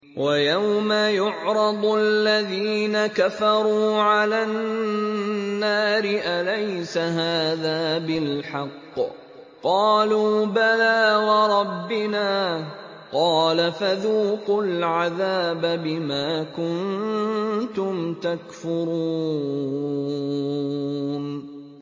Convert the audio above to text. وَيَوْمَ يُعْرَضُ الَّذِينَ كَفَرُوا عَلَى النَّارِ أَلَيْسَ هَٰذَا بِالْحَقِّ ۖ قَالُوا بَلَىٰ وَرَبِّنَا ۚ قَالَ فَذُوقُوا الْعَذَابَ بِمَا كُنتُمْ تَكْفُرُونَ